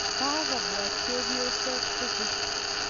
Ka kopwa chepyosok tukul.